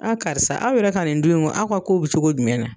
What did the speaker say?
karisa aw yɛrɛ ka nin dun in aw ka kow bɛ cogo jumɛn na.